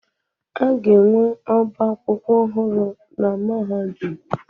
A ga-enwe ọbá akwụkwọ ọhụrụ na mahadum?